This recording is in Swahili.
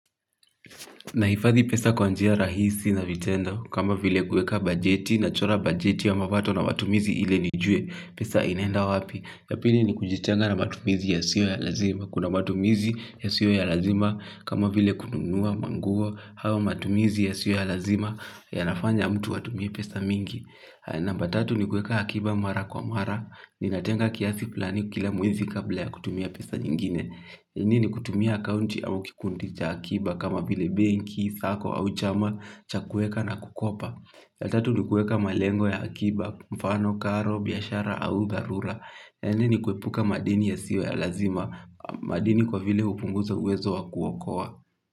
Nahifadhi pesa kwa njia rahisi na vitendo kama vile kueka bajeti nachora bajeti ya mapato na matumizi ili nijue, pesa inaenda wapi, ya pili ni kujitenga na matumizi yasiyo ya lazima, kuna matumizi yasiyo ya lazima, kama vile kununua, manguo au matumizi yasiyo ya lazima, yanafanya mtu atumie pesa mingi. Namba tatu ni kueka akiba mara kwa mara, ninatenga kiasi flani kila mwezi kabla ya kutumia pesa nyingine. Ni nini kutumia akaunti au kikundi cha akiba kama vile benki, sacco au chama, cha kueka na kukopa. Ya tatu ni kueka malengo ya akiba, mfano, karo, biashara au dharura. Ni nini kuepuka madini yasiyo ya lazima, madini kwa vile hupunguza uwezo wa kuokoa.